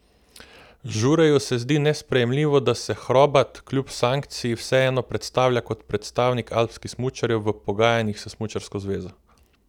Žureju se zdi nesprejemljivo, da se Hrobat, kljub sankciji, vseeno predstavlja kot predstavnik alpskih smučarjev v pogajanjih s smučarsko zvezo.